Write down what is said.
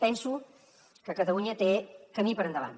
penso que catalunya té camí per endavant